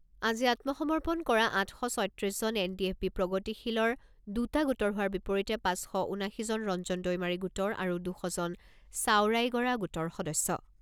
আজি আত্মসমৰ্পণ কৰা আঠ শ ছয়ত্ৰিছজন এনডিএফবি প্ৰগতিশীলৰ দুটা গোটৰ হোৱাৰ বিপৰীতে পাঁচ শ ঊনাশীজন ৰঞ্জন দৈমাৰী গোটৰ আৰু দুশ জন ছাওৰাইগৰা গোটৰ সদস্য।